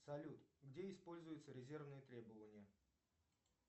салют где используются резервные требования